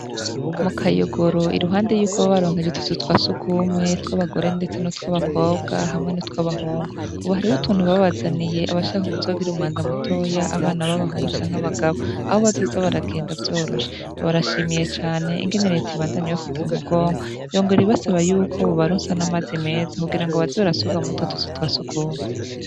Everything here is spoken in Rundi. Mu kayogoro, iruhande yuko babaronkeje utuzu twa sugumwe, tw'abagore, ndetse nutw'abakobwa hamwe n'utwabahungu. Ubu hariho uruntu babazaniye abazoshaka kugira umwanda mutoya abana babahungu canke abagabo, aho bazoza baragenda vyoroshe. Barashimiye cane ingene reta ibandanya ibafata mu mugongo, yongera basaba yuko bobaronsa n'amazi meza kugirango baze barasuka murutwo tuzu twa sugumwe.